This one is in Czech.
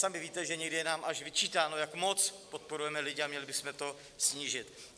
Sami víte, že někdy je nám až vyčítáno, jak moc podporujeme lidi, a měli bychom to snížit.